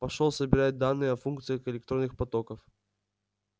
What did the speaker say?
пошёл собирать данные о функциях электронных потоков